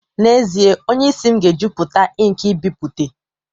N'ezie, onye isi m ga-ejupụta ink nbipute